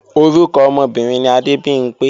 Orúkọ ọmọbìnrin ni Adébimpé